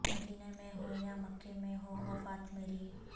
مدینہ میں ہو یا مکہ میں ہو وفات مری